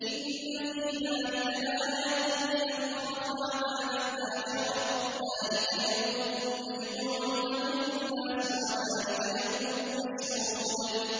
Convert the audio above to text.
إِنَّ فِي ذَٰلِكَ لَآيَةً لِّمَنْ خَافَ عَذَابَ الْآخِرَةِ ۚ ذَٰلِكَ يَوْمٌ مَّجْمُوعٌ لَّهُ النَّاسُ وَذَٰلِكَ يَوْمٌ مَّشْهُودٌ